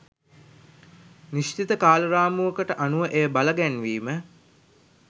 නිශ්චිත කාල රාමුවකට අනුව එය බලගැන්වීම